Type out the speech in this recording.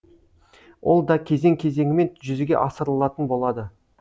ол да кезең кезеңімен жүзеге асырылатын болады